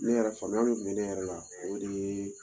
Ne yɛrɛ faamuya min tun bɛ ne yɛrɛ la o de ye